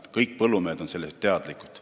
Kõik põllumehed on sellest teadlikud.